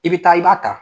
I bɛ taa i b'a ta